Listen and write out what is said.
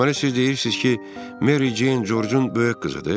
Deməli siz deyirsiz ki, Meri Ceyncun böyük qızıdır?